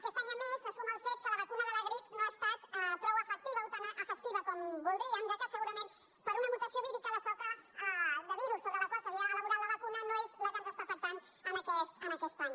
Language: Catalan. aquest any a més s’hi suma el fet que la vacuna de la grip no ha estat prou efectiva o tan efectiva com voldríem ja que segurament per una mutació vírica la soca de virus sobre la qual s’havia elaborat la vacuna no és la que ens està afectant aquest any